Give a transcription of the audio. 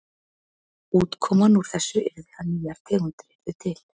Útkoman úr þessu yrði að nýjar tegundir yrðu til.